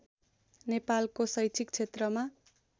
नेपालको शैक्षिक क्षेत्रमा